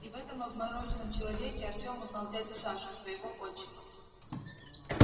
и в этом обмороженном человеке артём узнал дядю сашу своего отчима